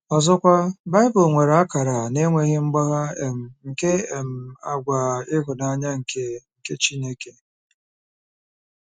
Ọzọkwa, Bible nwere akara na-enweghị mgbagha um nke um àgwà ịhụnanya nke nke Chineke.